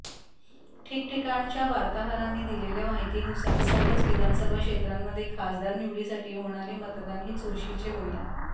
ठिकठिकाणच्या वार्ताहरांनी दिलेल्या माहितीनुसार सर्वच विधानसभा क्षेत्रांमध्ये खासदार निवडीसाठी होणारे मतदान हे चुरशीचे होईल